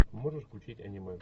можешь включить аниме